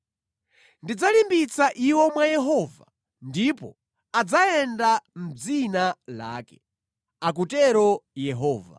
Ndidzalimbitsa iwo mwa Yehova ndipo adzayenda mʼdzina lake,” akutero Yehova.